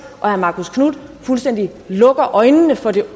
og herre marcus knuth fuldstændig lukker øjnene for den